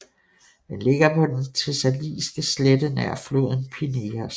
Den ligger på den Thessaliske slette nær floden Pineios